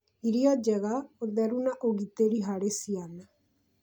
irio njega, ũtheru, na ũgitĩri harĩ ciana